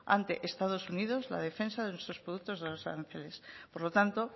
ante estados unidos la defensa de nuestros productos de los aranceles por lo tanto